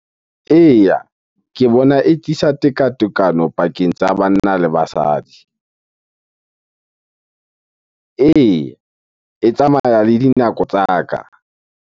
Eya, ke bona e tekatekano pakeng tsa banna le basadi. Eya, e tsamaya le dinako tsa ka.